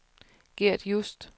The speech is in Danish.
Gert Just